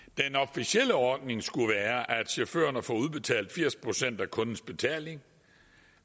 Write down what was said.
officielle ordning skulle være at chaufførerne får udbetalt firs procent af kundens betaling